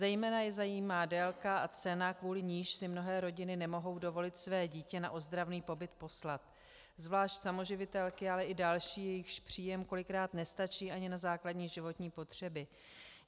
Zejména je zajímá délka a cena, kvůli níž si mnohé rodiny nemohou dovolit své dítě na ozdravný pobyt poslat, zvlášť samoživitelky, ale i další, jejichž příjem kolikrát nestačí ani na základní životní potřeby.